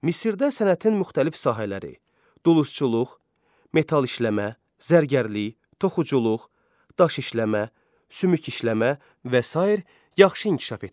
Misirdə sənətin müxtəlif sahələri, dulçuluq, metal işləmə, zərgərlik, toxuculuq, daş işləmə, sümük işləmə və sair yaxşı inkişaf etmişdi.